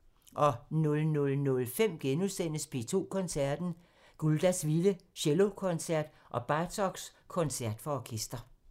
00:05: P2 Koncerten – Guldas vilde cellokoncert og Bartoks koncert for orkester *